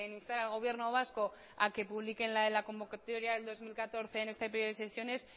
instar al gobierno vasco a que publique la convocatoria del dos mil catorce en este periodo de sesiones